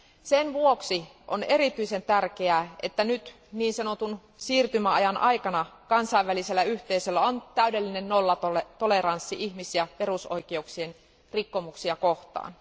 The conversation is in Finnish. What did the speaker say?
Sen vuoksi on erityisen tärkeää, että nyt niin sanotun siirtymäajan aikana kansainvälisellä yhteisöllä on täydellinen nollatoleranssi ihmis ja perusoikeuksien rikkomuksia kohtaan.